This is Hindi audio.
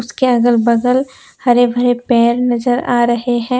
कि अगल बगल हरे भरे पेड़ नजर आ रहे हैं।